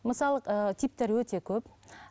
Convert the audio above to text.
мысалы ыыы типтері өте көп